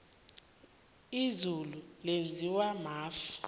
izulu lenziwa mafu